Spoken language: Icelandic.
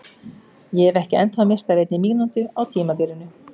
Ég hef ekki ennþá misst af einni mínútu á tímabilinu!